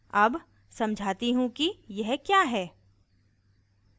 अब समझाती हूँ कि यह क्या है